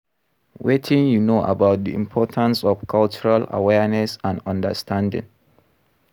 Wetin you know about di importance of cultural awareness and understanding?